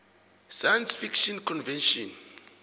science fiction convention